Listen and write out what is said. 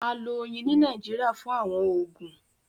À lọ̀ oyin ni Nàìjíríà fún àwọn oogun.